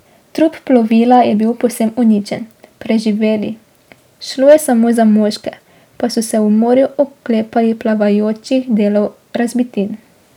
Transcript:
Trup plovila je bil povsem uničen, preživeli, šlo je samo za moške, pa so se v morju oklepali plavajočih delov razbitin.